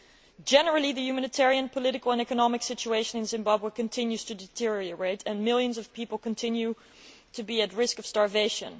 In general, the humanitarian, political and economic situation in Zimbabwe continues to deteriorate and millions of people continue to be at risk of starvation.